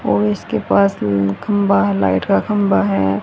और इसके पास खंभा है लाइट का खंभा है।